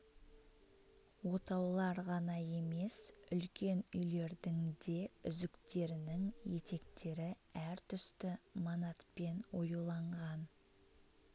отаулар ғана емес үлкен үйлердің де үзіктерінің етектері әр түсті манатпен оюланған